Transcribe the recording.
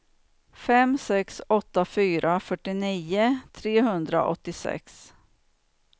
fem sex åtta fyra fyrtionio trehundraåttiosex